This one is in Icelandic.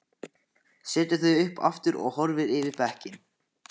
Setur þau upp aftur og horfir yfir bekkinn.